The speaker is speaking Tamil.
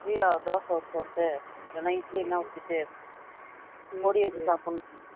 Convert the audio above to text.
திவ்யாவ dosa ஊத்த சொல்லிட்டு இல்லனா இட்லி எதுனா ஊத்திட்டு பொடி வச்சு சாப்பிடணும்